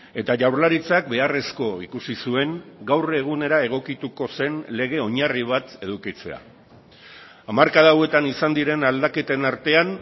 eta jaurlaritzak beharrezko ikusi zuen gaur egunera egokituko zen lege oinarri bat edukitzea hamarkada hauetan izan diren aldaketen artean